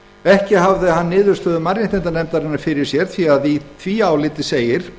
ekki hafði hann niðurstöðu mannréttindanefndarinnar fyrir sér því að í því áliti segir